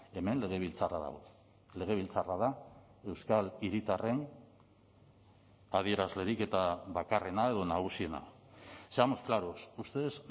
hemen legebiltzarra dago legebiltzarra da euskal hiritarren adierazlerik eta bakarrena edo nagusiena seamos claros ustedes